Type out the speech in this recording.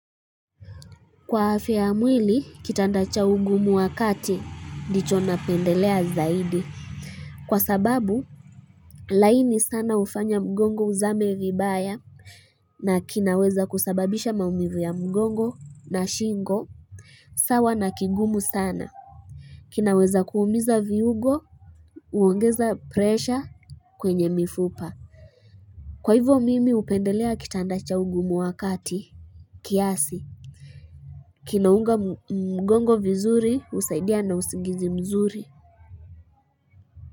Kwa afya ya mwili, kitandacha ugumu wakati, ndi cho na pendelea zaidi. Kwa sababu, laini sana ufanya mgongo uzame vibaya, na kinaweza kusababisha maumivu ya mgongo na shingo, sawa na kingumu sana. Kinaweza kuumiza viugo, uongeza presha kwenye mifupa. Kwa hivyo mimi upendelea kitandacha ugumu wakati, kiasi. Kinaunga mgongo vizuri usaidia na usigizi mzuri.